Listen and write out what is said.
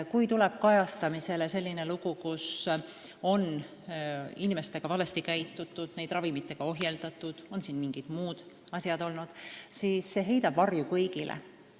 Kui tuleb kajastamisele selline lugu, et inimestega on valesti käitutud – neid on ravimitega ohjeldatud või on olnud mingid muud asjad –, siis see heidab varju kõigile.